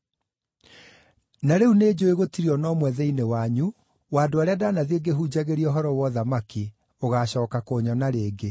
“Na rĩu nĩnjũũĩ gũtirĩ o na ũmwe thĩinĩ wanyu wa andũ arĩa ndanathiĩ ngĩhunjagĩria ũhoro wa ũthamaki ũgacooka kũnyona rĩngĩ.